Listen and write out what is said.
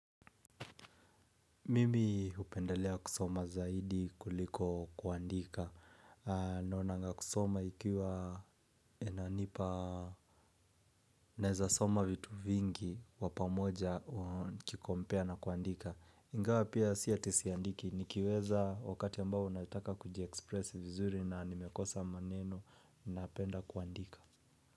Mimi hupendelea kusoma zaidi kuliko kuandika. Naonanga kusoma ikiwa inanipa. Naeza soma vitu vingi kwa pamoja nikikompea na kuandika ingawa pia si ati siandiki, nikiweza wakati ambao unataka kujiekspresi vizuri na nimekosa maneno na apenda kuandika.